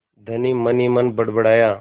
धनी मनहीमन बड़बड़ाया